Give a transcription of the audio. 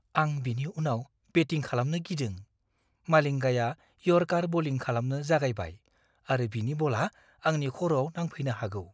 आं बिनि उनाव बेटिं खालामनो गिदों। मालिंगाया यर्कार बलिं खालामनो जागायबाय आरो बिनि बलआ आंनि खर'आव नांफैनो हागौ।